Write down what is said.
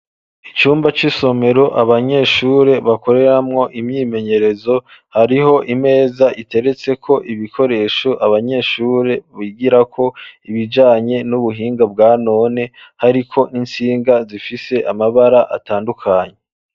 Icumba c'isomero, abanyeshure, bakoreramwo imyimenyerezo, hariho imeza, iteretseko ibikoresho, abanyeshure bigirako, ibijanye n'ubuhinga, bwa none; hariko n'intsinga, zifise amabara atandukanye.